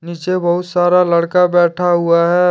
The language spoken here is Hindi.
पीछे बहुत सारा लड़का बैठा हुआ है।